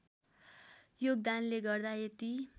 योगदानले गर्दा यति